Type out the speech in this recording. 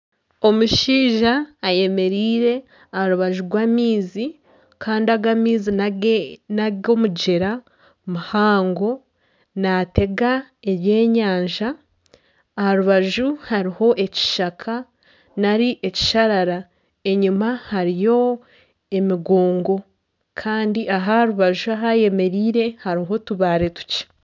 Omushaija ayemereire aha rubaju rw'amaizi kandi aga amaizi ni ag'omugyera muhango naatega eby'enyanja. Aha rubaju hariho ekishaka nari ekisharara enyima hariyo emigongo kandi aha rubaju ahu ayemereire hariho otubaare tukye.